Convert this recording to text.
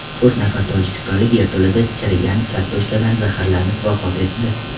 To‘rt nafar tojikistonlik yerto‘lada chirigan kartoshkadan zaharlanib vafot etdi.